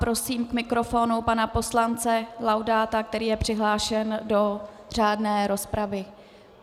Prosím k mikrofonu pana poslance Laudáta, který je přihlášen do řádné rozpravy.